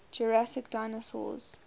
jurassic dinosaurs